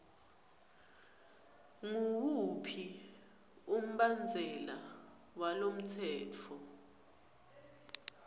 nguwuphi umbandzela walomtsetfo